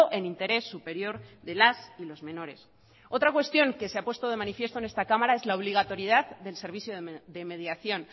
en interés superior de las y los menores otra cuestión que se ha puesto de manifiesto en esta cámara es la obligatoriedad del servicio de mediación